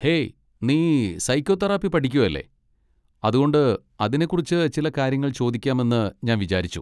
Hey, നീ psychotherapy പഠിക്കുകല്ലേ, അതുകൊണ്ട് അതിനെക്കുറിച്ച് ചില കാര്യങ്ങൾ ചോദിക്കാമെന്ന് ഞാൻ വിചാരിച്ചു.